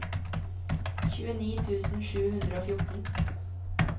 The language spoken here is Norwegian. tjueni tusen sju hundre og fjorten